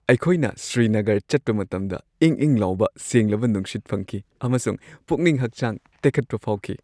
ꯑꯩꯈꯣꯏꯅ ꯁ꯭ꯔꯤꯅꯒꯔ ꯆꯠꯄ ꯃꯇꯝꯗ ꯏꯪ-ꯏꯪ ꯂꯥꯎꯕ ꯁꯦꯡꯂꯕ ꯅꯨꯡꯁꯤꯠ ꯐꯪꯈꯤ ꯑꯃꯁꯨꯡ ꯄꯨꯛꯅꯤꯡ-ꯍꯛꯆꯥꯡ ꯇꯦꯛꯈꯠꯄ ꯐꯥꯎꯈꯤ ꯫